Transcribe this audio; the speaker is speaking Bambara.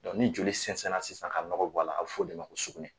ni joli sɛnsɛnna sisan ka nɔgɔ bɔ a la a bɛ fɔ o de ma ko sugunɛ